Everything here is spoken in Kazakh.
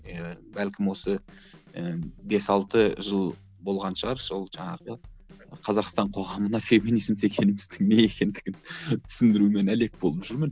иә бәлкім осы ыыы бес алты жыл болған шығар сол жаңағы қазақстан қоғамына феминизм дегеніміздің не екендігін түсіндірумен әлек болып жүрмін